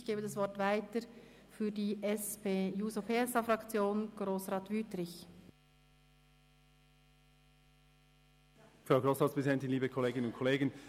Ich gebe das Wort weiter an Grossrat Wüthrich für die SP-JUSO-PSA-Fraktion.